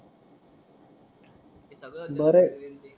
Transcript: बर आहे